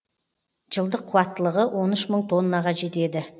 жылдық қуаттылығы он үш мың тоннаға жетеді